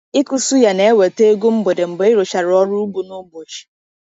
Ịkụ suya na-eweta ego mgbede mgbe ịrụchara ọrụ ugbo n’ụbọchị.